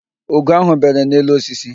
Ugo ahụ bere n'elu osisi